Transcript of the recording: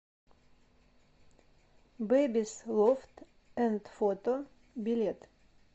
бэбис лофт энд фото билет